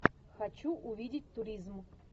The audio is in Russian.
хочу увидеть туризм